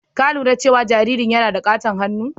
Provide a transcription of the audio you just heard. Ka lura cewa jaririn yana da ƙaton hannu?